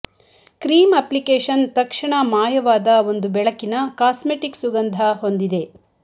cream application ತಕ್ಷಣ ಮಾಯವಾದ ಒಂದು ಬೆಳಕಿನ ಕಾಸ್ಮೆಟಿಕ್ ಸುಗಂಧ ಹೊಂದಿದೆ